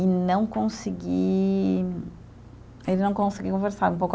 e não conseguir, e não conseguir conversar